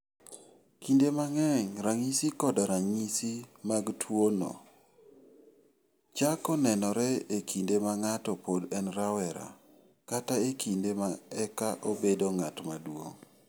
Kinde mang'eny, ranyisi koda Ranyisi mag tuwo mar tuwono chako nenore e kinde ma ng'ato pod en rawera kata e kinde ma eka obedo ng'at maduong .